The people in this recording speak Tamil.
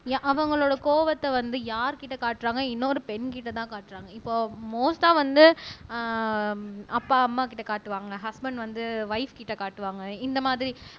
அவங்களோட கோபத்தை வந்து யார்கிட்ட காட்டுறாங்க இன்னொரு பெண்கிட்டதான் காட்டுறாங்க இப்போ மோஸ்ட்டா வந்து ஆஹ் அப்பா அம்மா கிட்ட காட்டுவாங்க ஹஸ்பண்ட் வந்து ஒய்ப்கிட்ட காட்டுவாங்க இந்த மாதிரி